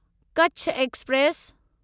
Kutch express